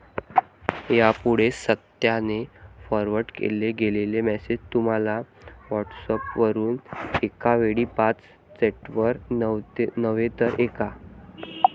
यापुढे सातत्याने फॉरवर्ड केले गेलेले मेसेज तुम्ही व्हॉट्सएपवरून एकावेळी पाच चॅटवर नव्हे तर एका